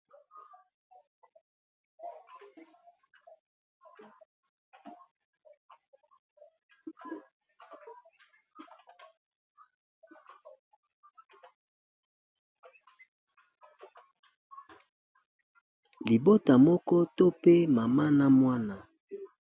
Libota moko to pe mama n'a muana